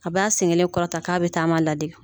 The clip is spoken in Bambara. A bɛ a sen kelen kɔrɔta k'a bɛ taama ladege